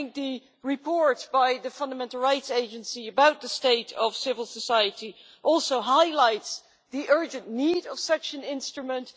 I think the report by the Fundamental Rights Agency about the state of civil society also highlights the urgent need for such an instrument.